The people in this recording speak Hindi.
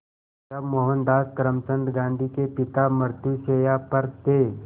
जब मोहनदास करमचंद गांधी के पिता मृत्युशैया पर थे